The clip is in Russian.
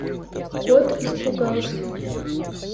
кот испугался